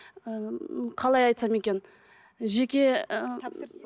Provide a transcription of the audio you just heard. і м қалай айтсам екен жеке